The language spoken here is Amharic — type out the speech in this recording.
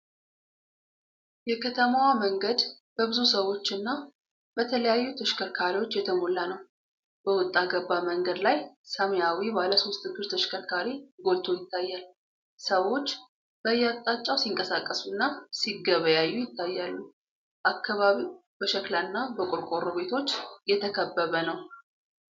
የከተማዋ መንገድ በብዙ ሰዎችና በተለያዩ ተሽከርካሪዎች የተሞላ ነው። በወጣ ገባ መንገድ ላይ ሰማያዊ ባለሶስት እግር ተሽከርካሪ ጎልቶ ይታያል። ሰዎች በየአቅጣጫው ሲንቀሳቀሱና ሲገበያዩ ይታያሉ። አካባቢው በሸክላና በቆርቆሮ ቤቶች የተከበበ ነው።